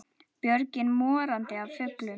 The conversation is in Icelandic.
Björgin morandi af fuglum.